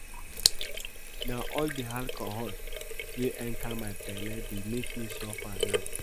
Na all the alcohol wey enter my bele dey make me suffer now